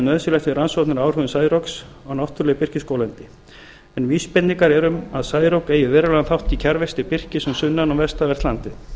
við rannsóknir á áhrifum særoks á náttúruleg birkiskóglendi en vísbendingar eru um að særok eigi verulegan þátt í kjarrvexti birkis um sunnan og vestanvert landið